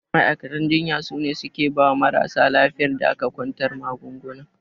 Ma'aikatan jinya sune suke bawa marasa lafiyar da aka kwantar magaunguna.